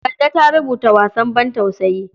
Kande ta rubuta wasan bantausayi.